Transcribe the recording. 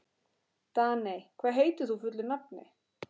Daney, hvað heitir þú fullu nafni?